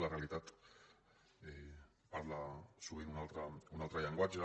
la realitat parla sovint un altre llenguatge